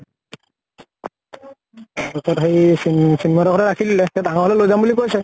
তাৰ পিছত সেই চিন্ময়ী হতৰ ঘৰতে ৰাখি দিলে। ডাঙৰ হলে লৈ যাম বুলি কৈছে।